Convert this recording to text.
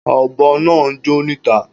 Ọ̀bọ̀ naa ńjó níta